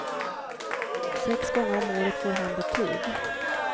Sex gånger om året får han betyg.